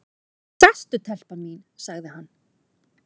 """Sestu telpa mín, sagði hann."""